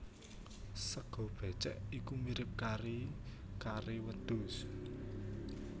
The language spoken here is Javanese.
Sega bécèk iku mirip kari kare wedhus